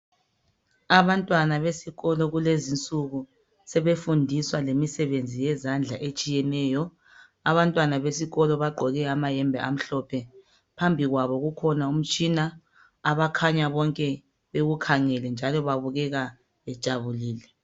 Abantwana beskolo kulezinsuku sebefundiswa imisebenzi yezandla etshiyeneyo. Abantwana beskolo bagqoke amayembe amhlophe. Phambi kwabo kukhona umtshina abakhanya bonke bewukhangele, njalo babukeka bejabulile.